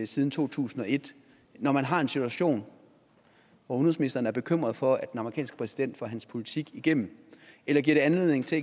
siden to tusind og et når man har en situation hvor udenrigsministeren er bekymret for at den amerikanske præsident får sin politik igennem eller giver det anledning til